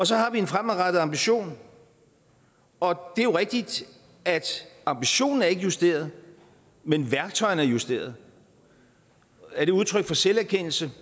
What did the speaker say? så har vi en fremadrettet ambition og det er jo rigtigt at ambitionen ikke er justeret men værktøjerne er justeret er det udtryk for selverkendelse